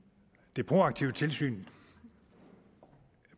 det proaktive tilsyn